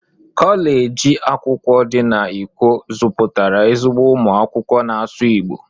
Koleji akwụkwọ di na ikwo zuputara ezigbo umu akwụkwọ n'asụsụ Igbo.